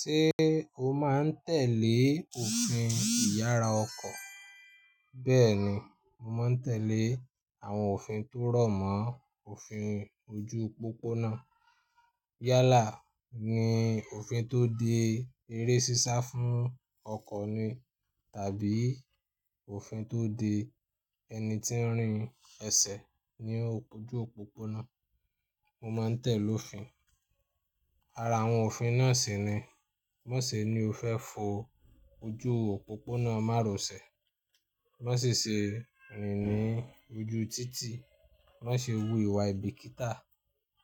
Ṣé o máa ń tẹ̀lé òfin ìyára ọkọ̀? Bẹ́ẹ̀ni, mo máa ń tẹ̀lé àwọn òfin tó rọ̀mọ́ òfin ojú òpópónà. Yálà ni òfin tó de eré sísá fún ọkọ̀ ni tàbí òfin tó de ẹni tí ń rin ẹsẹ̀ ní ojú òpópónà, mo máa ń tẹ̀lé òfin. Ara àwọn òfin náà sì ni, má ṣe ni o fẹ́ fo ojú òpópónà má ro sè, má ṣi se rìn ní ojú títì, má ṣe wú ìwà aìbíkítà.